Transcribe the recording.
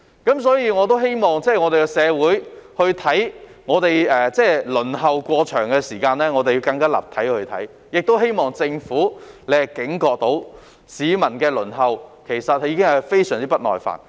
因此，我希望社會可更立體地看待輪候時間過長的問題，亦希望政府警覺到市民對輪候已非常不耐煩。